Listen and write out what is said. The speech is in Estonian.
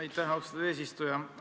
Aitäh, austatud eesistuja!